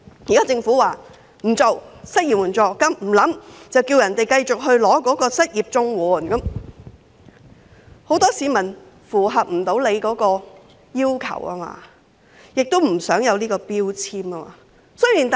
現在政府說不會考慮設立失業援助金，叫市民繼續申請失業綜援，但很多市民無法符合相關要求，也不想被標籤。